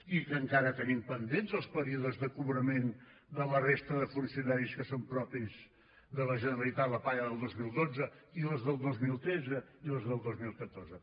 i que encara tenim pendents els períodes de cobrament de la resta de funcionaris que són propis de la generalitat la paga del dos mil dotze i les del dos mil tretze i les del dos mil catorze